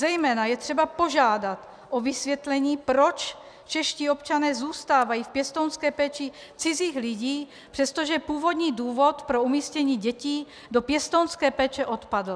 Zejména je třeba požádat o vysvětlení, proč čeští občané zůstávají v pěstounské péči cizích lidí, přestože původní důvod pro umístění dětí do pěstounské péče odpadl.